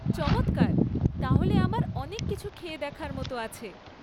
চমৎকার, তাহলে আমার অনেক কিছু খেয়ে দেখার মতো আছে।